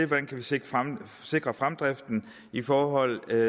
man kan sikre sikre fremdriften i forhold til